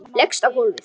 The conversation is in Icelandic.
Leggst á gólfið.